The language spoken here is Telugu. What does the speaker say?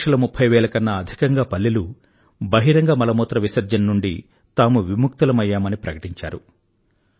రెండు లక్షల ముఫ్ఫైవేల కన్నా అధికంగా పల్లెలు బహిరంగ మలమూత్ర విసర్జన నుండి తాము విముక్తులమయ్యామని ప్రకటించారు